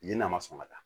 Yen n'a ma sɔn ka taa